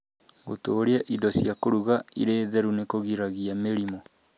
Gũtũũria indo cia kũruga irĩ theru nĩ kũgiragia mĩrimũ.